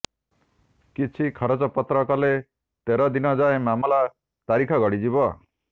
କିଛି ଖରଚପତ୍ର କଲେ ତେର ଦିନଯାଏ ମାମଲା ତାରିଖ ଗଡ଼ଯିବ